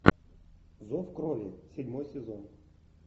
зов крови седьмой сезон